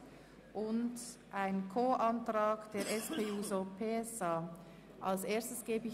Hier liegt eine Planungserklärung der FiKoMinderheit und der SP-JUSO-PSA-Fraktion als Co-Antragstellerin vor.